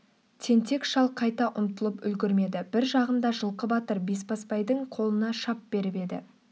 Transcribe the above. тентек шал қайта ұмтылып үлгірмеді бір жағында жылқы батыр бесбасбайдың қолына шап беріп еді